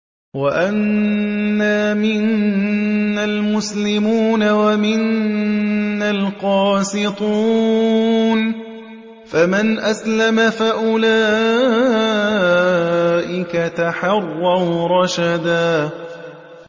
وَأَنَّا مِنَّا الْمُسْلِمُونَ وَمِنَّا الْقَاسِطُونَ ۖ فَمَنْ أَسْلَمَ فَأُولَٰئِكَ تَحَرَّوْا رَشَدًا